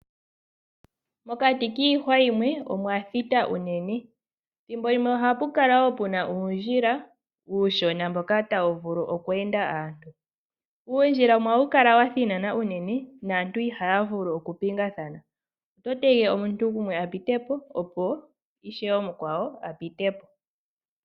Mokati kiihwa yimwe omwa thita unene. Thimbo limwe ohapu kala wo pu na uundjila uushona mboka tawu vulu oku enda aantu. Uundjila wumwe ohawu kala wa thinana unene naantu ihaya vulu okupingathana. Oto tege omuntu gumwe a pite po, opo ishewe omukwawo a pite po.